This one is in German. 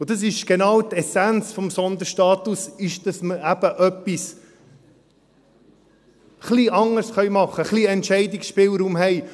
Und das ist genau die Essenz des Sonderstatus, dass man eben etwas ein wenig anders machen können, ein wenig Entscheidungsspielraum haben.